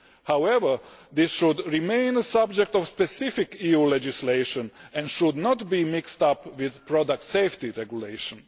However, this should remain a subject of specific EU legislation and should not be mixed up with product safety regulation.